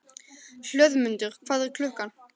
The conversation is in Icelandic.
Hlöðmundur, hvað er klukkan?